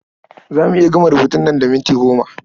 Za mu iya gama rubutun nan da minti goma.